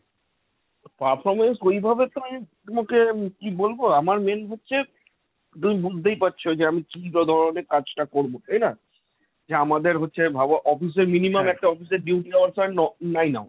performance ঐভাবে তো আমি তোমাকে কি বলবো, আমার main হচ্ছে তুমি বুঝতেই পারছ যে আমি কি বা ধরনের কাজটা করব তাই না? যে আমাদের হচ্ছে ভাবো office এর minimum একটা office এর duty hour হয় ন~ nine hour।